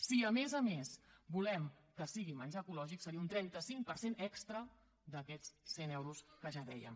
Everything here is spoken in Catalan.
si a més a més volem que sigui menjar ecològic seria un trenta cinc per cent extra d’aquests cent euros que ja dèiem